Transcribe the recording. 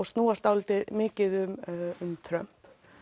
snúast svolítið mikið um Trump